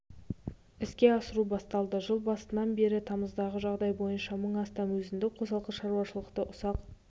іске асыру басталды жыл басынан бері тамыздағы жағдай бойынша мың астам өзіндік қосалқы шаруашылықты ұсақ